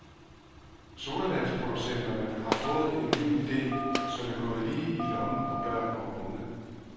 Sodavandsproducenterne har fået en ny ide, som er gået lige i lommen på børn og unge.